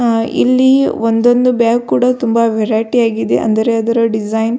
ಆ ಇಲ್ಲಿ ಒಂದೊಂದು ಬ್ಯಾಗ್ ಕೂಡ ತುಂಬಾ ವೆರೈಟಿ ಯಾಗಿದೆ ಅಂದರೆ ಅದರ ಡಿಸೈನ್ .